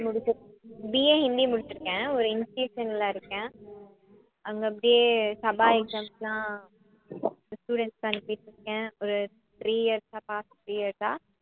BA Hindi முடிச்சிருக்கேன் ஒரு institution ல இருக்கேன் அங்க அப்படியே சபா exams லாம் students க்கு அனுப்பிட்டிருக்கேன் ஒரு three years ஆ past three years ஆ